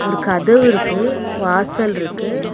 ஒரு கதவு இருக்கு வாசல் இருக்கு.